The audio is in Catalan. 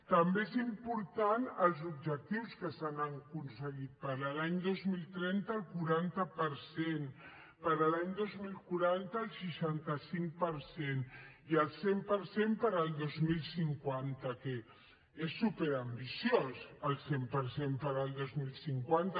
també són importants els objectius que s’han aconseguit per a l’any dos mil trenta el quaranta per cent per a l’any dos mil quaranta el seixanta cinc per cent i el cent per cent per al dos mil cinquanta que és superambiciós el cent per cent per al dos mil cinquanta